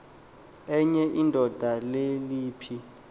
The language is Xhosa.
enye indoda leliphi